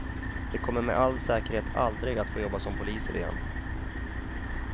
De kommer med all säkerhet aldrig att få jobba som poliser igen.